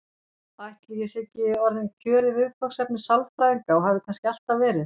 Ætli ég sé ekki orðinn kjörið viðfangsefni sálfræðinga og hafi kannski alltaf verið?